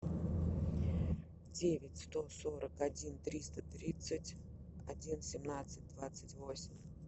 девять сто сорок один триста тридцать один семнадцать двадцать восемь